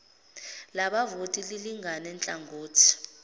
labavoti lilingane nhlangothi